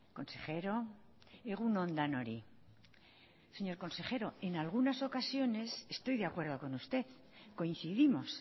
consejero egun on denoi señor consejero en algunas ocasiones estoy de acuerdo con usted coincidimos